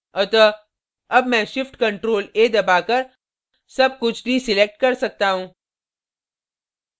अतः अब मैं shift + ctrl + a दबाकर so कुछ deselect कर सकता हूँ